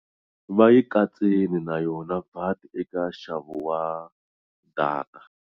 Va yi katsile na yona VAT eka nxavo wa data.